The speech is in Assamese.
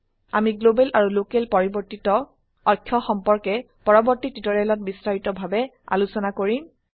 আমি গ্লোবেল আৰু লোকেল পৰিবৰ্তিত অক্ষ সম্পৰ্কে পৰবৰ্তী টিউটোৰিয়েলত বিস্তাৰিত ভাবে আলোচনা কৰিম